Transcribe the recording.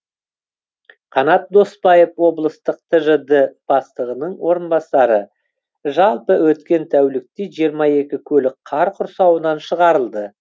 қанат доспаев облыстық тжд бастығының орынбасары жалпы өткен тәулікте жиырма екі көлік қар құрсауынан шығарылды